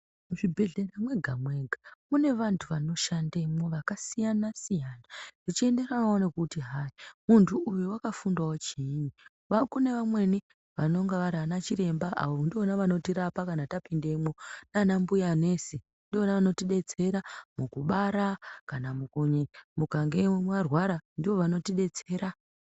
Muzvibhedhlera mwega mwega mune vantu vanoshandemwo vakasiyana siyana zvichienderanawo nekuti hai muntu uyo wakafundawo chiinyi kune vamweni vanonga vari ana chiremba avo unotoona vanotirapa kana tapindemwo nanambuya nesi ndivona vanotidetsera mukubara kana mukange marwara ndovanotidetsera.